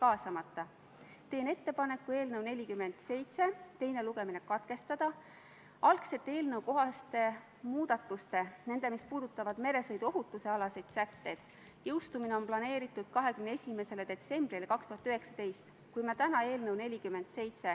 Austatud Riigikogu, panen hääletusele Vabariigi Valitsuse esitatud Riigikogu otsuse "Kaitseväe kasutamise tähtaja pikendamine Eesti riigi rahvusvaheliste kohustuste täitmisel Euroopa Liidu väljaõppemissioonil ja ÜRO rahutagamismissioonil Malis" eelnõu 70.